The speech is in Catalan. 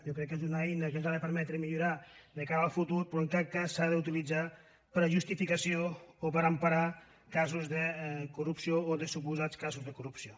jo crec que és una eina que ens ha de permetre millorar de cara al futur però que en cap cas no s’ha d’utilitzar per a justificació o per emparar casos de corrupció o suposats casos de corrupció